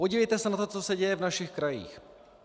Podívejte se na to, co se děje v našich krajích!